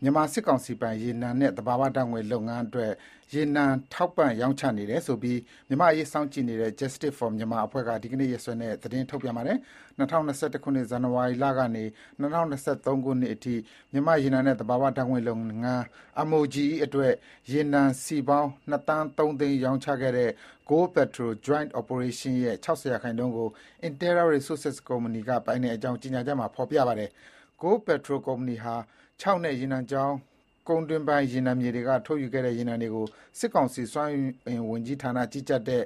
မြန်မာစစ်ကောင်စီပိုင် ရေနံနဲ့ သဘာဝဓါတ်ငွေ့ လုပ်ငန်းတွေအတွက် ရေနံထောက်ပံ့ရောင်းချနေတယ်ဆိုပြီး မြန်မာ့အရေးစောင့်ကြည့်နေတဲ့ Justice for Myanmar အဖွဲ့က ဒီနေ့ရက်စွဲနဲ့ သတင်း ထုတ်ပြန်ပါတယ်။ ၂၀၂၁ ခုနှစ် ဇန်နဝါရီလကနေ ၂၀၂၃ နှစ်ကုန်အထိ မြန်မာ့ရေနံနဲ့ သဘာဝဓါတ်ငွေ့လုပ်ငန်း (MOGE) အတွက် ရေနံစည်ပေါင်း ၂ သန်း ၃ သိန်း ရောင်းချခဲ့တဲ့ Goldpertol Joint Operation ရဲ့ ၆၀ ရာခိုင်နှုန်းကို Interra Resources ကုမ္ပဏီဟာ ပိုင်ကြောင်း ကြေညာချက်မှာ ဖေါ်ပြပါတယ်။ Goldpetrol ကုမ္ပဏီဟာ ချောက်နဲ့ ရေနံချောင်း ကုန်းတွင်းပိုင်းရေနံမြေတွေက ထုတ်ယူခဲ့တဲ့ ရေနံတွေကို စစ်ကောင်စီ စွမ်းအင်ဝန်ကြီးဌာနကြီးကြပ်တဲ့